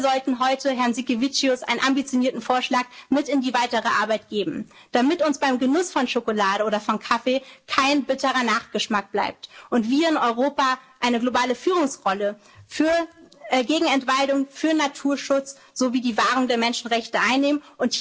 erinnern. Und wir sollten heute Herrn Sinkevičius einen ambitionierten Vorschlag mit in die weitere Arbeit geben, damit uns beim Genuss von Schokolade oder von Kaffee kein bitterer Nachgeschmack bleibt und wir in Europa eine globale Führungsrolle gegen Entwaldung, für Naturschutz sowie die Wahrung der Menschenrechte